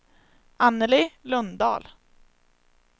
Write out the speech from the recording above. Anneli Lundahl